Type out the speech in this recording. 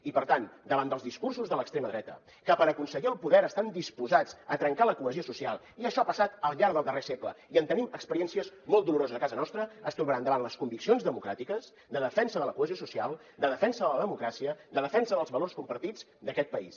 i per tant davant dels discursos de l’extrema dreta que per aconseguir el poder estan disposats a trencar la cohesió social i això ha passat al llarg del darrer segle i en tenim experiències molt doloroses a casa nostra ens trobaran davant les conviccions democràtiques de defensa de la cohesió social de defensa de la democràcia de defensa dels valors compartits d’aquest país